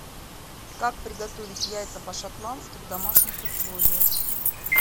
как приготовить яйца по шотландски в домашних условиях